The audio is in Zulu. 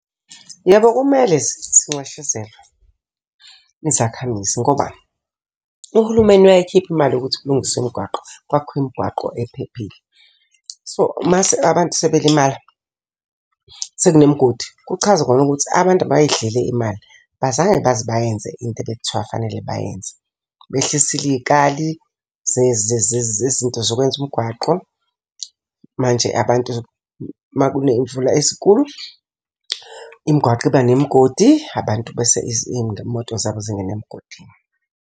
Yebo, kumele zinxeshezelwe, izakhamizi ngoba uhulumeni uyayikhipha imali yokuthi kulungiswe imgwaqo, kwakhiwe imigwaqo ephephile. So, mase abantu sebelimala sekunemigodi, kuchaza khona ukuthi abantu bayidlile imali, abazange baze bayenze into ebekuthiwa fanele bayenze. Behlisile iy'kali zezinto zokwenza umgwaqo. Manje abantu uma kuney'mvula ezinkulu, imigwaqo iba nemigodi abantu bese iy'moto zabo zingene emgodini.